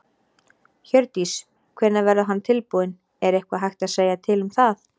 Hjördís: Hvenær verður hann tilbúinn, er eitthvað hægt að segja til um það?